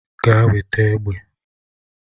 Gaa weta egbe.